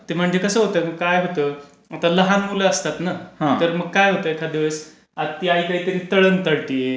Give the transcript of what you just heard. ते म्हणजे कसं होतं, काय होतं? आता लहान मुलं असतात ना तर माग काया होतं एखाद्या वेळेस. ती आई काहीतरी तळण तळतेय.